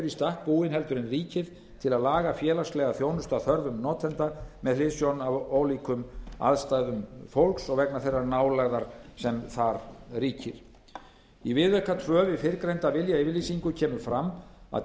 stakk búin en ríkið til að laga félagslega þjónustu að þörfum notenda með hliðsjón af ólíkum aðstæðum fólks og vegna þeirrar nálægðar sem þar ríkir í viðauka tvö við fyrrgreinda viljayfirlýsingu kemur fram að